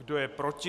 Kdo je proti?